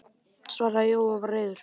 svaraði Jói og var reiður.